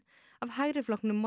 af hægri flokknum